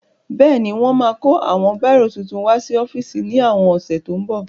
Bẹ́ẹ̀ni wọ́n máa kó àwọn bírò titun wá sí ọ́fíìsì ní àwọn ọ̀sẹ̀ tó ń bọ̀